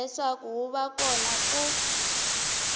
leswaku wu va kona ku